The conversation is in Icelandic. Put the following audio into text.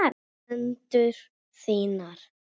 Hendur þínar.